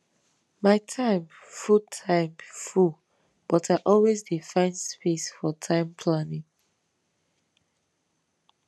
my time full time full but i always dey find space for time planning